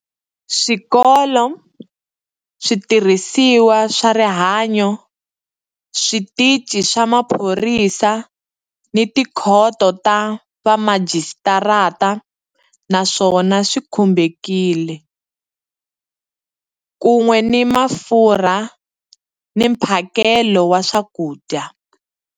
Swikolo, switirhisiwa swa rihanyu, switichi swa maphorisa ni tikhoto ta vamajisitarata na swona swi khumbekile, kun'we ni mafurha ni mphakelo wa swakudya.